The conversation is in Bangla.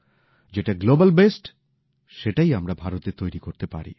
যেটা বিশ্বে সবথেকে ভাল সেটাই আমরা ভারতে তৈরি করতে পারি